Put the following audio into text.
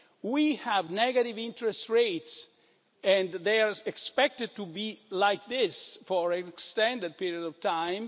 We have negative interest rates and they are expected to be like this for an extended period of time.